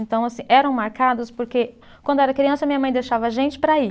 Então assim, eram marcadas porque quando era criança minha mãe deixava a gente para ir.